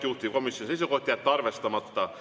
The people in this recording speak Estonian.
Juhtivkomisjoni seisukoht on jätta arvestamata.